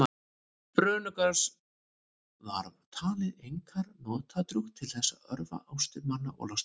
brönugras var talið einkar notadrjúgt til þess að örva ástir manna og losta